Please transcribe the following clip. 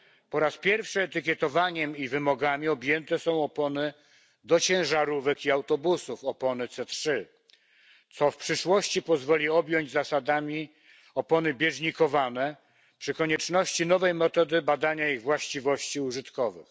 Po raz pierwszy etykietowaniem i wymogami objęte są opony do ciężarówek i autobusów, opony C3, co w przyszłości pozwoli objąć zasadami opony bieżnikowane przy konieczności nowej metody badania ich właściwości użytkowych.